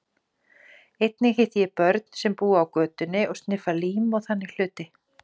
Einnig hitti ég börn sem búa á götunni og sniffa lím og þannig hluti.